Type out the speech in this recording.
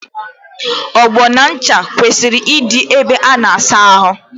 Ogbo na ncha kwesịrị ịdị ébé a na-asa ahụ.